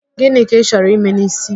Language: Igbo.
Gịnị ka Ị chọrọ ime n'ísí?